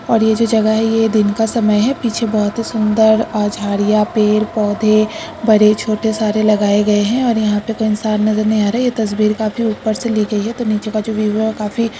और ये जो जगह है ये दिन का समय है पीछे बहोत ही सुन्दर और झाड़ियां पेड़ पौधे बरे छोटे सारे लगाये गए हैं और यहाँ पे कोई इंसान नजर नही आ रहा ये तस्वीर काफी सारी ऊपर से ली गयी है तो नीचे का जो व्यूव है काफी--